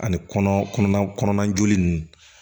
Ani kɔnɔ kɔnɔna joli ninnu